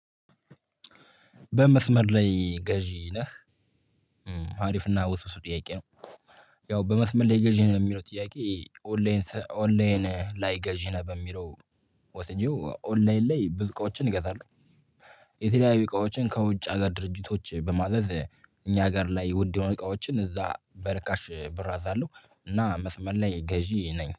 በመስመር ላይ ገዢ ነህ አሪፍና ውስጥ ጥያቄ ነው? ያው በመስመር ላይ ገዢ ነው የሚለው ጥያቄ ኦንላይን ኦንላይን ላይ ገዢ ነው በሚለው ወስጄው ኦንላይን ላይ ብዙ እቃዎችን እገዛለሁ። የተለያዩ እቃዎችን ከውጭ ሀገር ድርጅቶች በማለት እኛ ሀገር ላይ ውድ የሆነ እቃዎችን እዛ በርካሽ ብር አዛለሁ እና መስመር ላይ ገዢ ነኝ